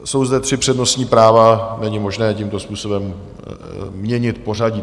Jsou zde tři přednostní práva, není možné tímto způsobem měnit pořadí.